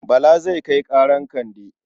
Bala zai kai ƙarar Kande.